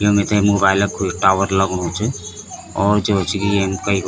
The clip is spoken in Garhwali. ये मिथे मोबाइल कु इस टावर लगणु च और जो च की यम कई --